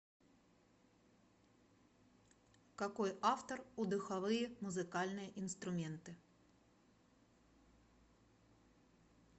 какой автор у духовые музыкальные инструменты